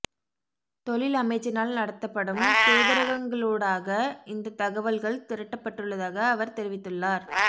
தொழில் அமைச்சினால் நடத்தப்படும் தூதரகங்களூடாக இந்த தகவல்கள் திரட்டப்பட்டுள்ளதாக அவர் தெரிவித்துள்ளார்